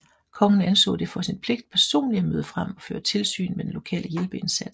Kongen anså det for sin pligt personligt at møde frem og føre tilsyn med den lokale hjælpeindsats